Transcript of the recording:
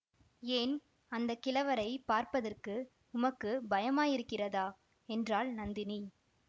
ஏன் அந்த கிழவரைப் பார்ப்பதற்கு உமக்கு பயமாயிருக்கிறதா என்றாள் நந்தினி